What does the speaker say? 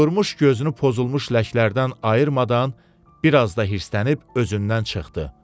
Durmuş gözünü pozulmuş ləklərdən ayırmadan biraz da hırslənib özündən çıxdı.